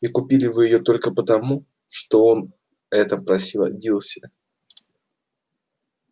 и купили вы её только потому что об этом просила дилси